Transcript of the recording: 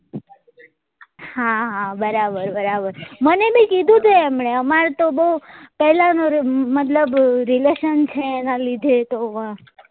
હા હા બરાબર બરાબર મને બી કીધું હતું એમને અમાર તો બઉ પેલા નો મતલબ relation છે એના લીધે તો અ